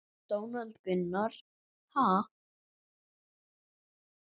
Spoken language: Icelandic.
Donald Gunnar: Ha?